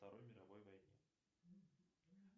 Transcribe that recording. второй мировой войне